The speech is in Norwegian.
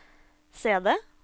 CD